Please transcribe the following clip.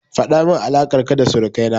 Faɗamin alaƙar ka da surukai na.